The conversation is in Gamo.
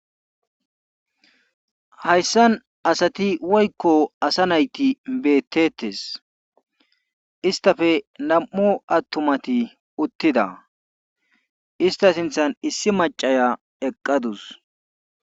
Hayssan asati woykko asa nayti beeteetes isttafe nam7u attunmati uttida istts sinthan issi maccaya eqqadus.